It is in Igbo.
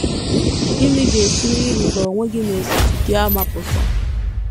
Gịnị ga - esi ‘ n’ịrịba onwe gị na ozizi gị ama ’ pụta?